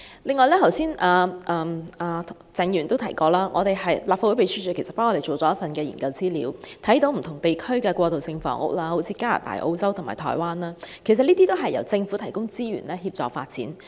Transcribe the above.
此外，鄭議員剛才也提到，立法會秘書處為我們完成了一份研究資料，可見不同地區的過渡性房屋，例如加拿大、澳洲和台灣的過渡性房屋，都是由政府提供資源協助發展。